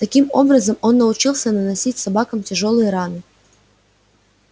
таким образом он научился наносить собакам тяжёлые раны